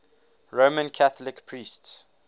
roman catholic priests